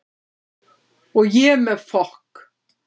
Og ég með fokk